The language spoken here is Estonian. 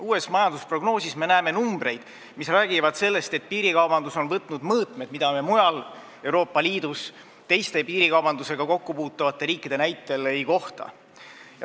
Uues majandusprognoosis me näeme numbreid, mis räägivad sellest, et piirikaubandus on võtnud mõõtmed, mida me mujal Euroopa Liidus teiste piirikaubandusega kokku puutuvate riikide näitel ei kohta.